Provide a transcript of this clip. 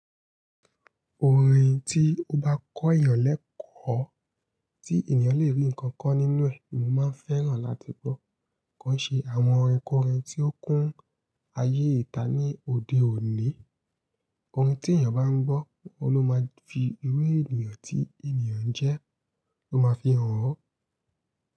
Orin tí ó bá kọ́ ìyàn lẹ́kọ̀ọ́, tí ènìyàn lè rí nǹkan ko nínú ẹ̀, ni mo máa ń fẹ́ràn láti gbọ́. Ko n ṣe àwọn orinkorin tí ó kún ayé ìta ní òde òní. Orin tí ènìyàn bá ń gbọ́, óun lo máa fi iru ènìyàn tí ènìyàn jẹ́, ó máa fi hàn ọ́